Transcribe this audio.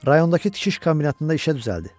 Rayondakı tikiş kombinatında işə düzəldi.